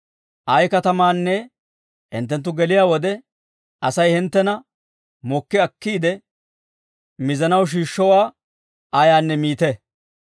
«Ay katamaanne hinttenttu geliyaa wode, Asay hinttena mokki akkiide mizanaw shiishshowaa ayaanne miite.